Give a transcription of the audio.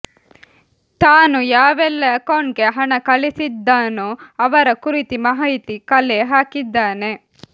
ತಾನು ಯಾವೆಲ್ಲಾ ಅಕೌಂಟ್ಗೆ ಹಣ ಕಳಿಸಿದ್ದನೋ ಅವರ ಕುರಿತು ಮಾಹಿತಿ ಕಲೆ ಹಾಕಿದ್ದಾನೆ